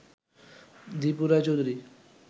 Dipu Roy Chowdhury